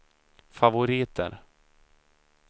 favoriter